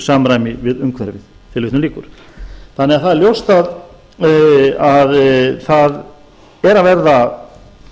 samræmi við umhverfið það er því ljóst að það er að verða tel